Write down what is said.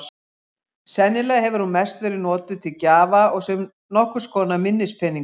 Sennilega hefur hún mest verið notuð til gjafa og sem nokkurs konar minnispeningur.